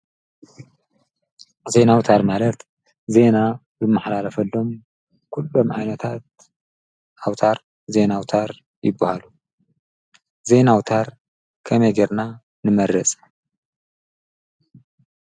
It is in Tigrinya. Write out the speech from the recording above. ዜናውታር ማለርት ዜና ብመዕላለፈሎም ኲሎም ዓነታት ኣውታር ዜናውታር ይብሃሉ ።ዜናውታር ከመይጌርና ንመርፅ?